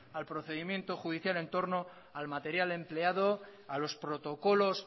al procedimiento judicial en torno al material empleado a los protocolos